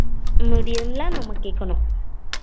medium ஆ நம்ம கேக்கணும்